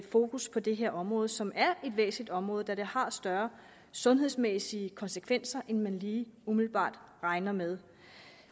fokus på det her område som er et væsentligt område da det har større sundhedsmæssige konsekvenser end man lige umiddelbart regner med